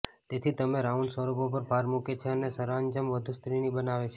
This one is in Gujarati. તેથી તમે રાઉન્ડ સ્વરૂપો પર ભાર મૂકે છે અને સરંજામ વધુ સ્ત્રીની બનાવે છે